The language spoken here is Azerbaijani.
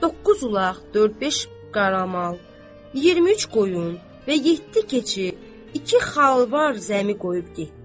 Doqquz ulaq, dörd-beş qaramal, 23 qoyun və yeddi keçi, iki xalvar zəmi qoyub getdi.